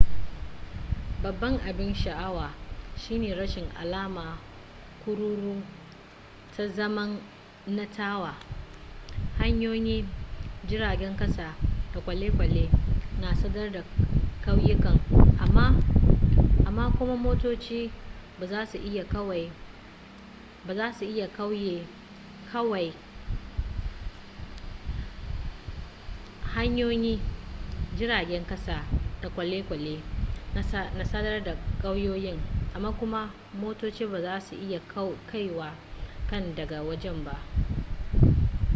babban abin sha'awar shine rashin alama kururu ta zamanantarwa hanyoyi jiragen kasa da kwale-kwale na sadar da kauyukan amma kuma motoci ba za su iya kaiwa can daga waje ba